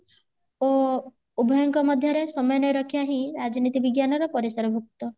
ଅ ଉଭୟଙ୍କ ମଧ୍ୟରେ ସମୟନ ରକ୍ଷା ହିଁ ରାଜନୀତି ବିଜ୍ଞାନ ର ପରିସର ଭୁକ୍ତ